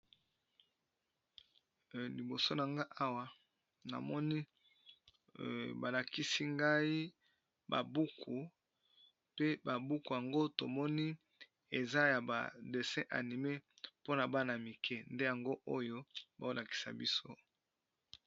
Liboso na nga namoni, balakisi ba buku pe ba buku yango tomoni eza ya dessin animé eza ya bana mike nde yango oyo bazolakisa biso.